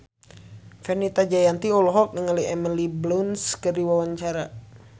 Fenita Jayanti olohok ningali Emily Blunt keur diwawancara